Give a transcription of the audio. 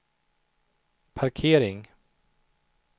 parkering